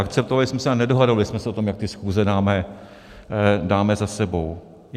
Akceptovali jsme se a nedohadovali jsme se o tom, jak ty schůze dáme za sebou.